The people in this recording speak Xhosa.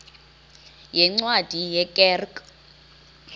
yeencwadi ye kerk